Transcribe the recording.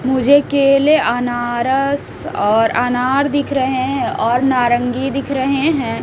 मुझे केले अनारस और अनार दिख रहे हैं और नारंगी दिख रहे हैं।